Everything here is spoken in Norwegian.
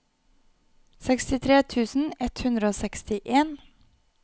sekstitre tusen ett hundre og sekstien